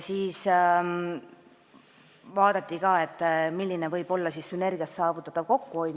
Siis vaadati, milline võib olla sünergia abil saavutatav kokkuhoid.